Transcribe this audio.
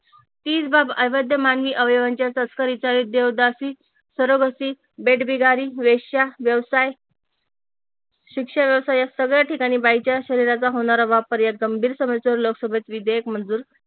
हीच बाब अवैध मागणी अवयवांच्या तस्करीचा एक देवदासी, सोरोगसी, वेठबिगारी, वेश्या व्यवसाय शिक्षणाचा या सगळ्या ठिकाणी बाईच्या शरीराचा होणारा वापर या गंभीर समस्येवर लोकसभेत विधेयक मंजूर